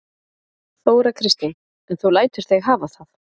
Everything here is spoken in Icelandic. Þóra Kristín: En þú lætur þig hafa það?